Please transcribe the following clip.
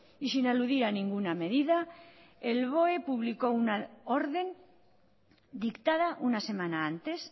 y sin aludir a ninguna medida el boe publicó una orden dictada una semana antes